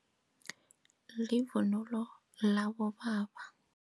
Livunulo labobaba.